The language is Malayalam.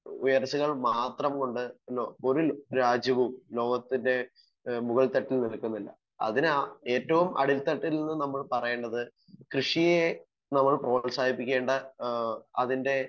സ്പീക്കർ 1 ഉയർച്ചകൾ മാത്രം കൊണ്ട് ഇന്ന് ഒരു രാജ്യവും ലോകത്തിൻ്റെ ഏഹ് മുകൾ തട്ടിൽ നിൽക്കുന്നില്ല. അതിന് ഏറ്റവും അടിത്തട്ടിൽ നിന്നും നമ്മൾ പറയേണ്ടത് കൃഷിയെ നമ്മൾ പ്രോത്സാഹിപ്പിക്കേണ്ട ഏഹ് അതിൻ്റെ